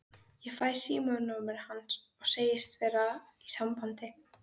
Ég fæ símanúmerið hans og segist verða í sambandi.